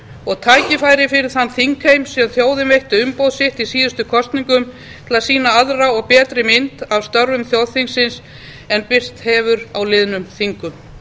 og tækifæri fyrir þann þingheim sem þjóðin veitti umboð sitt í síðustu kosningum til að sýna aðra og betri mynd af störfum þjóðþingsins en birst hefur á liðnum þingum